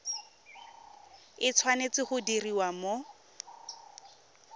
e tshwanetse go diriwa mo